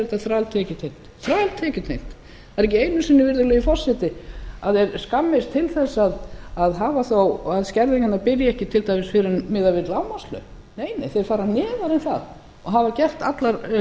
er þetta þræltekjutengt það er ekki einu sinni virðulegi forseti að þeir skammist til þess að láta þó ekki skerðinguna byrja fyrr en miðað við lágmarkslaun nei þeir fara neðar en það og hafa gert allar